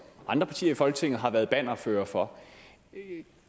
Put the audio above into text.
andre partier i folketinget jo har været bannerførere for